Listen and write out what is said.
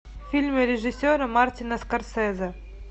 фильмы режиссера мартина скорсезе